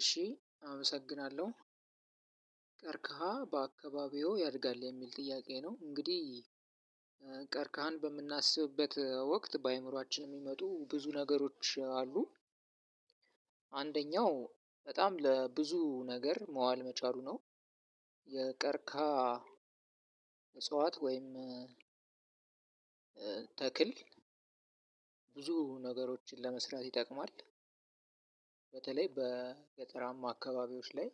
እሺ አመሰግናለሁ "ቀርከሃ በአካባቢዎ ያድጋል?" የሚል ጥያቄ ነው እንግዲህ ቀርከሃን በምናስብበት ወቅት በአእምሯችን የሚመጡ ብዙ ነገሮች አሉ። አንደኛው በጣም ለብዙ ነገር መዋል መቻሉ ነው። የቀርከሃ እጽዋት ወይም ተክል ብዙ ነገሮችን ለመስራት ይጠቅማል። በተለይ በገጠራማ አካባቢዎች ላይ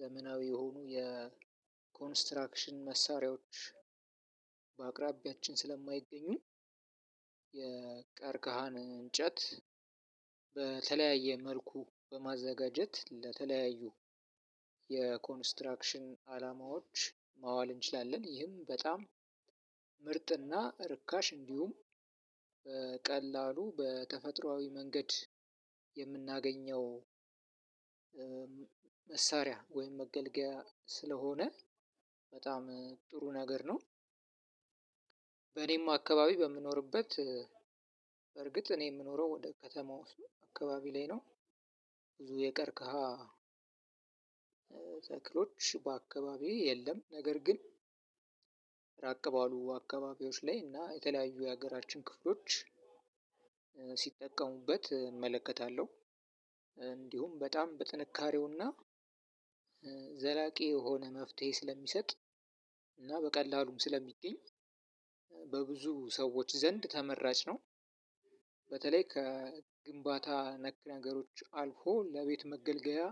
ዘመናዊ የሆኑ የኮንስትራክሽን መሳሪያዎች በአቅራቢያችን ስለማይገኙ የቀርቀሃን እንጨት በተለያየ መልኩ በማዘጋጀት ለተለያዩ የኮንስትራክሽን አላማዎች ማዋል እንችላለን። ይህም በጣም ምርጥና ርካሽ እንዲሁም በቀላሉ በተፈጥሯዊ መንገድ የምናገኘው መሳሪያ ወይም መገልገያ ስለሆነ በጣም ጥሩ ነገር ነው። በኔም አካባቢ በምኖርበት በእርግጥ እኔ የምኖረው ወደ ከተማው ውስ አካባቢ ላይ ነው። ብዙ የቀረከሃ ተክሎች በአካባቢው የለም ነገር ግን ራቅ ባሉ አካባቢዎች ላይ እና የተለያዩ የሀገራችን ክፍሎች ሲጠቀሙበት እመለከታለሁ። እንዲሁም በጣም በጥንካሬውና ዘላቂ የሆነ መፍትሄ ስለሚሰጥ እና በቀላሉም ስለሚገኝ በብዙ ሰዎች ዘንድ ተመራጭ ነው። በተለይ ከግንባታ ነክ ነገሮች አልፎ ለቤት መገልገያ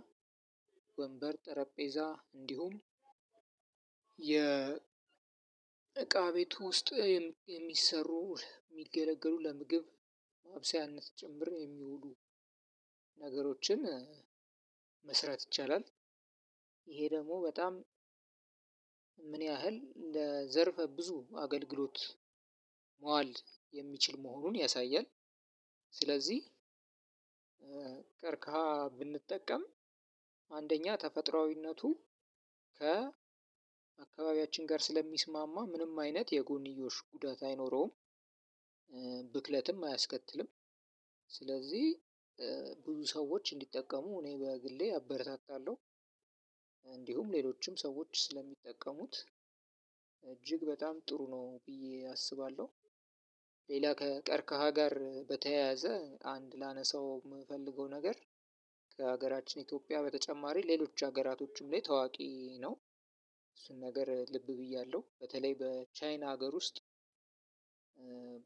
ወንበር፣ ጠረጴዛ እንዲሁም የ እቃ ቤቱ ውስጥ የሚሰሩ የሚገለገሉ ለምግብ ማብሰያነት ጭምር የሚውሉ ነገሮችን መስራት ይቻላል። ይሄ ደግሞ በጣም ምን ያህል እንደ ዘርፈ ብዙ አገልግሎት መዋል የሚችል መሆኑን ያሳያል። ስለዚህ ቀርካሃ ብንጠቀም አንደኛ ተፈጥሯዊነቱ ከ አካባቢያችን ጋር ስለሚስማማ ምንም አይነት የጎንዮሽ ጉዳት አይኖረውም። ብክለትም አያስከትልም ስለዚህ ብዙ ሰዎች እንዲጠቀሙ እኔ በግሌ አበረታታለሁ። እንዲሁም ሌሎችም ሰዎች ስለሚጠቀሙት እጅግ በጣም ጥሩ ነው ብዬ አስባለሁ። ሌላ ከቀርከሃ ጋር በተያያዘ አንድ ላነሳው የምፈልገው ነገር ከሀገራችን ኢትዮጵያ በተጨማሪ ሌሎች ሀገራቶችም ላይ ታዋቂ ነው። እሱን ነገር ልብ ብያለሁ በተለይ በቻይና ሀገር ውስጥ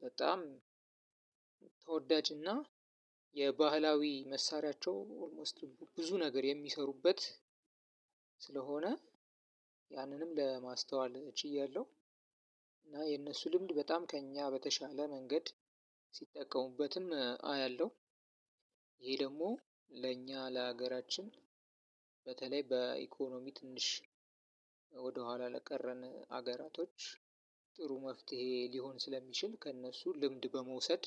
በጣም ተወዳጅና የባህላዊ መሳሪያቸው ኦልሞስት ብዙ ነገር የሚሰሩበት ስለሆነ ያንንም ለማስተዋል እችያለሁ፤ እና የእነሱ ልምድ በጣም ከእኛ በተሻለ መንገድ ሲጠቀሙበትም አያለሁ። ይሄ ደግሞ ለእኛ ለሀገራችን በተለይ በኢኮኖሚ ትንሽ ወደኋላ ለቀረን ሀገራቶች ጥሩ መፍትሄ ሊሆን ስለሚችል ከእነሱ ልምድ በመውሰድ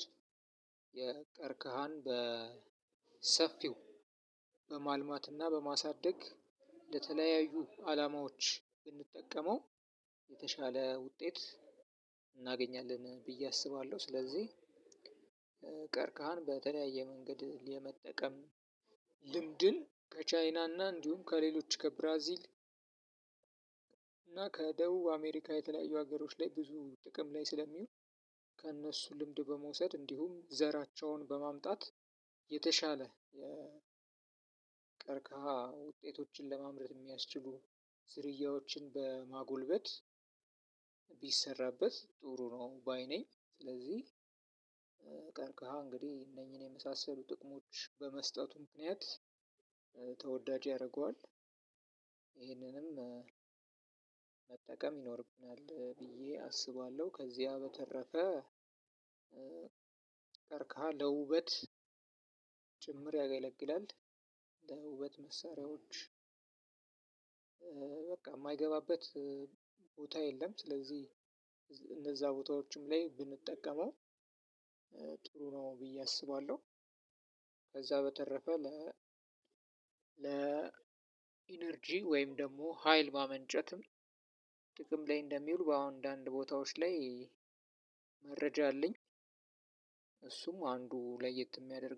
የቀርከሃን በሰፊው በማልማትና በማሳደግ ለተለያዩ አላማዎች ብንጠቀመው የተሻለ ውጤት እናገኛለን ብዬ አስባለሁ። ስለዚህ ቀርከሃን በተለያየ መንገድ የመጠቀም ልምድን ከቻይናና እንዲሁም ከሌሎች ከብራዚል እና ከደቡብ አሜሪካ የተለያዩ ሀገሮች ላይ ብዙ ጥቅም ላይ ስለሚውል ከእነሱ ልምድ በመውሰድ እንዲሁም ዘራቸውን በማምጣት የተሻለ ቀርከሃ ውጤቶችን ለማምረት የሚያስችሉ ዝርያዎችን በማጎልበት ቢሰራበት ጥሩ ነው ባይ ነኝ። ስለዚህ እንግዲህ እነኚህን የመሳሰሉ ጥቅሞች በመስጠቱ ምክንያት ተወዳጅ ያደርገዋል። ይሄንንም መጠቀም ይኖርብናል ብዬ አስባለሁ። ከዚያ በተረፈ ቀርከሃ ለውበት ጭምር ያገለግላል። ለውበት መሳሪያዎች በቃ የማይገባበት ቦታ የለም ስለዚህ እነዛ ቦታዎችም ላይ ብንጠቀመው ጥሩ ነው ብዬ አስባለሁ። ከዛ በተረፈ ለ ለ ኢነርጂ ወይም ደግሞ ሀይል ማመንጨትም ጥቅም ላይ እንደሚውል በአንዳንድ ቦታዎች ላይ መረጃ አለኝ። እሱም አንዱ ለየት የሚያደርገው